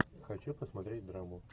хочу посмотреть драму